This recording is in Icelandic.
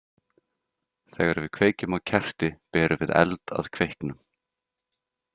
Þegar við kveikjum á kerti berum við eld að kveiknum.